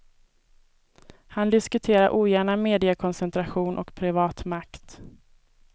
Han diskuterar ogärna mediekoncentration och privat makt.